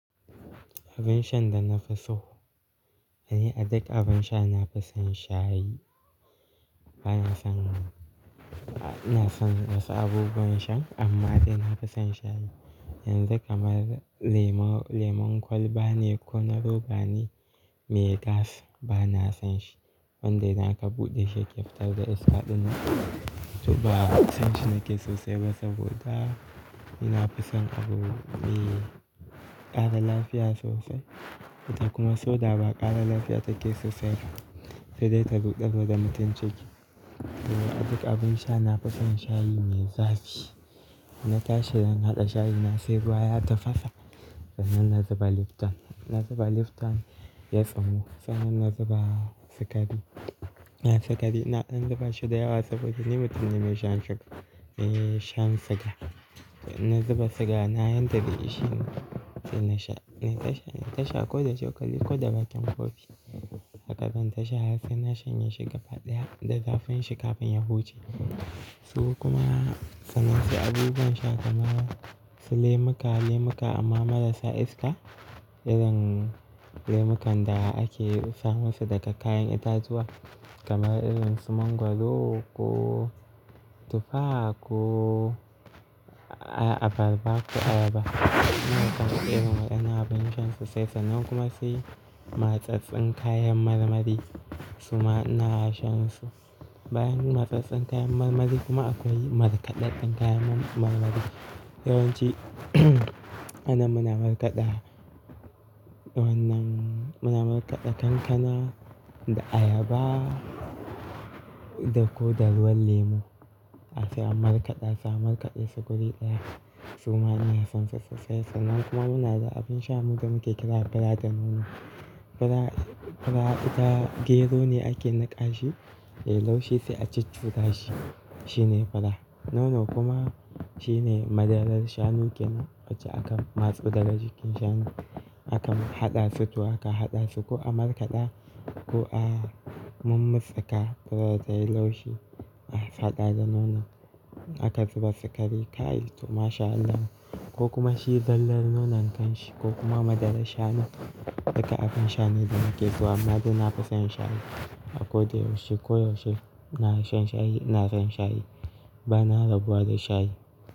Abin shan da na fi so, eh duk abin sha na fi son shayi. Bana son, ina son wasu abubuwan shan amma dai na fi son shayi. Yanzu kamar lemon, lemon kwalba ne ko na roba ne mai gas, ba na son shi. Wanda idan aka buɗe shi yake fitar da iska ɗinnan. To ba son shi nake sosai ba saboda ni na fi son abu mai ƙara lafiya sosai. Ita kuma soda ba ƙara lafiya take sosai ba sai dai ta rudar wa da mutum ciki. To duk abin sha na fi son shayi mai zafi. Na tashi Zan na haɗa shayi na sai ruwa ya tafasa sannan na zuba Lipton. In na zuba Lipton ya tsumu sannan na zuba sukari. Na zuba shi da yawa saboda ni mutum ne mai shan shuga, eh shan siga. Na zuba siga na yadda zai isheni. Sai na sha, in ta sha ko da cokali ko da bakin kofi. Haka zan ta sha har sai na shanye shi gaba ɗaya da zafin shi kafin ya huce. Su kuma, sannan sai abubuwan sha kamar su lemuka, lemuka amma marasa iska. Irin lemukan da ake samun su daga kayan itatuwa kamar irin su mangwaro ko tufa ko abarba ko ayaba. Lemukan irin waɗannan abin shan sosai sannan kuma sai matsatsin kayan marmari suma ina sha su. Bayan matsatsen kayan marmari kuma akwai markaɗaɗɗen kayan marmari. Yawanci anan muna markaɗa wannan, muna markaɗa kankana da ayaba da ko da ruwan lemu asa markaɗa su a markaɗa su guri ɗaya suma ina son su sosai sannan kuma muna da abin sha mu da muke kira fada nono. Fura ita gero ne ake niƙa shi yayi laushi sai a ciccuda shi. Shine fura. Nono kuma shine madarar shanu kenan wacce aka matso daga jikin shanu. Akan haɗa su to aka haɗa su ko a markaɗa ko a mummutska furar ta yi laushi. A haɗa da nono aka zuba sukari, kai to mashallah. Ko kuma shi zallar nonon kanshi ko kuma madarar shanu duka abin sha ne da nike so amma dai na fi son shayi. A ko da yaushe ko yaushe ina shan shayi, na son shayi. Bana rabuwa da shayi.